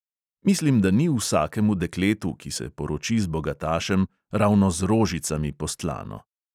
Mislim, da ni vsakemu dekletu, ki se poroči z bogatašem, ravno z rožicami postlano.